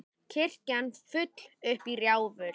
Kirkjan full upp í rjáfur.